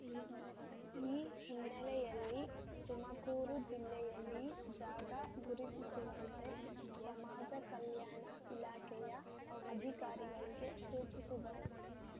ಈ ಹಿನ್ನೆಲೆಯಲ್ಲಿ ತುಮಕೂರು ಜಿಲ್ಲೆಯಲ್ಲಿ ಜಾಗ ಗುರುತಿಸುವಂತೆ ಸಮಾಜ ಕಲ್ಯಾಣ ಇಲಾಖೆಯ ಅಧಿಕಾರಿಗಳಿಗೆ ಸೂಚಿಸಿದರು